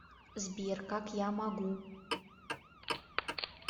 сбер как я могу